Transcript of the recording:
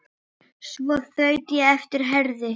Svo þaut ég á eftir Herði.